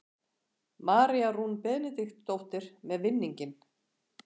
María Rún Benediktsdóttir með vinninginn.